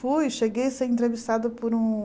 Fui, cheguei a ser entrevistada por um...